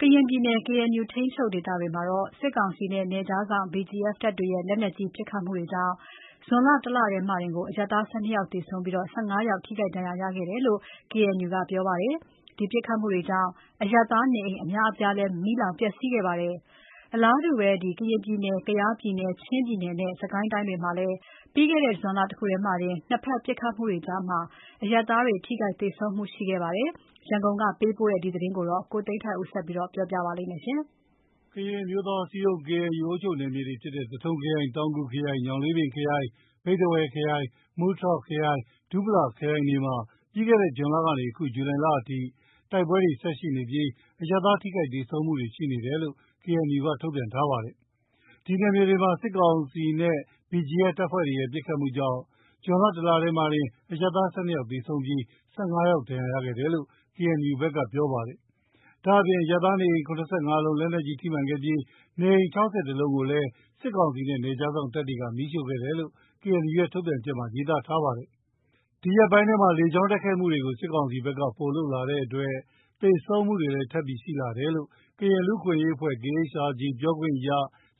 ကရင်ပြည်နယ် KNU ထိန်းချုပ်ဒေသတွေမှာ စစ်ကောင်စီနဲ့ နယ်ခြားစောင့် BGF တပ်တွေရဲ့ လက်နက်ကြီး ပစ်ခတ်မှုတွေကြောင့် ဇွန်လ တလတည်းမှာတင် အရပ်သား ၁၂ယောက်သေဆုံးပြီး၊ ၁၅ယောက် ထိခိုက်ဒဏ်ရာ ရခဲ့တယ်လို့ ကရင်အမျိုးသားအစည်းအရုံးက ပြောပါတယ်။ ဒီပစ်ခတ်မှုတွေကြောင့် အရပ်သားနေအိမ် အများအပြားလည်း မီးလောင်၊ ပျက်စီးခဲ့တာပါ။ အလားတူပဲ ကရင်ပြည်နယ်၊ ကယားပြည်နယ်၊ ချင်းပြည်နယ်နဲ့ စစ်ကိုင်းတိုင်းမှာလည်း ပြီးခဲ့တဲ့ ဇွန်လတလတည်းမှာတင် နှစ်ဘက်ပစ်ခတ်မှုတွေကြားမှာ အရပ်သားထိခိုက်၊ သေဆုံးမှုတွေ ရှိခဲ့ပါတယ်။ ရန်ကုန်ကပေးပို့ထားတဲ့ ဒီသတင်း ကိုသိန်းထိုက်ဦး ပြောပြပါမယ်။ ကရင်အမျိုးသားအစည်းအရုံး KNU အုပ်ချုပ်နယ်မြေတွေဖြစ်တဲ့ သထုံခရိုင်၊ တောင်ငူခရိုင်၊ ညောင်လေးပင်ခရိုင်၊ ဘိတ်ထားဝယ်ခရိုင်၊ မူတြော်ခရိုင်၊ ဒူးပလာယာခရိုင်တွေမှာ ပြီးခဲ့တဲ့ဇွန်လကနေ အခုဇူလိုင်လအထိ တိုက်ပွဲတွေဆက်တိုက်ရှိနေပြီး အရပ်သားထိခိုက်၊ သေဆုံးမှုတွေ ရှိနေတယ်လို့ KNU ကထုတ်ပြန်ထားပါတယ်။ ဒီနယ်မြေတွေမှာ စစ်ကောင်စီနဲ့ BGF တပ်ဖွဲ့တွေရဲ့ ပစ်ခတ်မှုကြောင့် ဇွန်လတလတည်းမှာတင် အရပ်သား ၁၂ယောက်သေဆုံးပြီး၊ ၁၅ယောက်ဒဏ်ရာရခဲ့တယ်လို့ KNU ဘက်ကပြောပါတယ်။ ဒါ့အပြင် အရပ်သားနေအိမ် ၇၅လုံး လက်နက်ကြီး ထိမှန်ခဲ့ပြီး နေအိမ် ၆၁ လုံးကိုလည်း စစ်ကောင်စီနဲ့ နယ်ခြားစောင့်တပ်တွေက မီးရှို့ခဲ့တယ်လို့ KNU ရဲ့ ထုတ်ပြန်ချက်မှာ ရေးသားထားပါတယ်။ ဒီရက်ပိုင်းထဲမှာ လေကြောင်းတိုက်ခိုက်မှုတွေကို စစ်ကောင်စီဘက်က ပိုလုပ်လာတဲ့အတွက် သေဆုံးမှုတွေလည်း ထပ်ပြီးရှိလာတယ်လို့ ကရင်လူ့အခွင့်အရေးအဖွဲ့ KHRG ပြောခွင့်ရ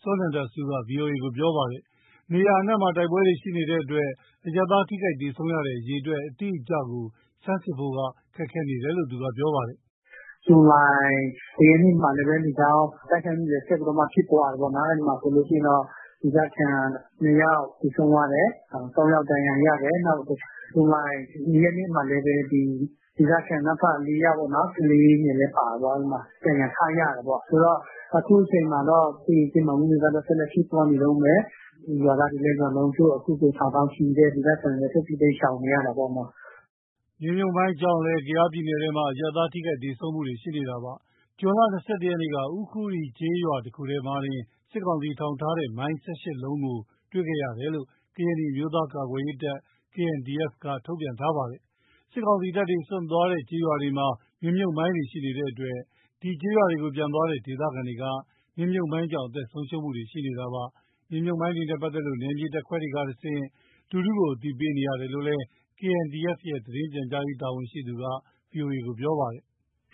စောနန္ဒဆူးက ဗွီအိုအေကို ပြောပါတယ်။ နေရာအနှံ့မှာ တိုက်ပွဲတွေရှိနေတဲ့အတွက် အရပ်သား ထိခိုက်၊ သေဆုံးရတဲ့ အရေအတွက် အတိအကျကို ဆန်းစစ်ဖို့က ခက်ခဲနေတယ်လို့ သူကပြောပါတယ်။ " ဇူလိုင် ၁ရက်မှာလည်း လေကြောင်းတိုက်ခိုက်မှုတွေ ဆက်ပြီးဖြစ်ပွားတယ်ပေါ့ အဲဒီမှာ ဒေသခံ၂ယောက် သေဆုံးသွားတယ်၊ သုံးယောက် ဒဏ်ရာရတယ်။ နောက်ဇူလိုင်၂ရက်မှာလည်း ဒေသခံနောက်ထပ် ၄ယောက် ကလေးငယ်လည်း ပါတယ်ပေါ့ ဒဏ်ရာရတယ်။ ဆိုတော့ အခုအချိန်မှာတော့ (ကရင်ပြည်နယ်ထဲမှာ) စစ်ရေးတင်းမှာမှုတွေက ဆက်ပြီးဖြစ်ပွားနေတုန်းပဲ။ ရွာသားတွေလည်း ရွာလုံးကျွတ် အခုဆိုရင် ထောင်သောင်းချီတဲ့ဒေသခံတွေ ထွက်ပြေး၊ တိမ်းရှောင်နေရတာပေါ့။" မြေမြှုပ်မိုင်းကြောင့်လည်း ကယားပြည်နယ်ထဲမှာ အရပ်သားထိခိုက်၊ သေဆုံးမှုတွေ ရှိနေတာပါ။ ဇွန်လ ၂၁ရက်က ဥခူးရီကျေးရွာ တခုတည်းမှာတင် စစ်ကောင်စီထောင်ထားတဲ့ မိုင်း ၁၈လုံးကို တွေ့ခဲ့ရတယ်လို့ ကရင်နီအမျိုးသားများ ကာကွယ်ရေးတပ် KNDF ဘက်က ထုတ်ပြန်ထားပါတယ်။ စစ်ကောင်စီတပ်တွေ စွန့်ခွာသွားတဲ့ ကျေးရွာတွေမှာ မြေမြှုပ်မိုင်းတွေရှိနေတဲ့အတွက် ဒီကျေးရွာတွေကို ပြန်သွားတဲ့ ဒေသခံတွေက မြေမြှုပ်မိုင်းကြောင့် အသက်ဆုံးရှုံးမှုတွေ ရှိနေပါတယ်။ မြေမြှုပ်မိုင်းတွေနဲ့ပတ်သက်လို့ နယ်မြေတပ်ခွဲတွေကတဆင့် လူထုကိုအသိ ပေးနေရတယ်လို့ KNDF ရဲ့ သတင်းပြန်ကြားရေး တာဝန်ရှိသူက ဗွီအိုအေကို ပြောပါတယ်။